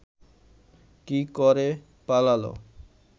কি ক’রে পালাল